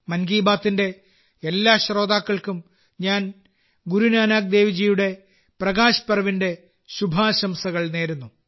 മൻ കി ബാത്തിന്റെ എല്ലാ ശ്രോതാക്കൾക്കും ഞാൻ ഗുരുനാനാക്ക് ദേവ് ജിയുടെ പ്രകാശ് പർവിന്റെ ശുഭാശംസകൾ നേരുന്നു